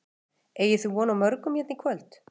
Una: Eigið þið von á morgun hérna í kvöld?